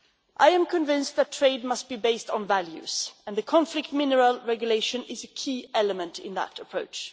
I am convinced that trade must be based on values, and the conflict mineral regulation is a key element in that approach.